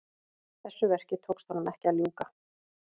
Þessu verki tókst honum ekki að ljúka.